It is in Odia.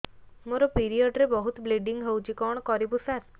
ମୋର ପିରିଅଡ଼ ରେ ବହୁତ ବ୍ଲିଡ଼ିଙ୍ଗ ହଉଚି କଣ କରିବୁ ସାର